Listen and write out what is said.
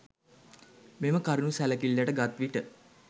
මෙම කරුණු සැලකිල්ලට ගත් විට